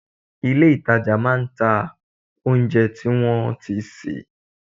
Ilé ìtajà máa ń ta oúnjẹ tí wọ́n ti sè